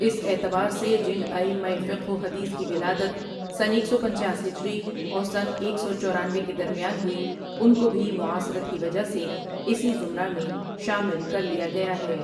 اس اعتبار سے جن ائمہ فقہ وحدیث کی ولادت سنہ ایک سو پنچاس ہجری اور سنہ ایک سو چورینوے کے درمیان ہوئی ان کوبھی معاصرت کی وجہ سے اسی زمرہ میں شامل کرلیا گیا ہے۔